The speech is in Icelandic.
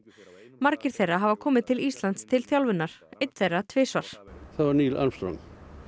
margir þeirra hafa komið til Íslands til þjálfunar einn þeirra tvisvar það var Neil Armstrong